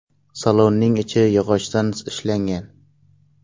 Salonning ichi yog‘ochdan ishlangan.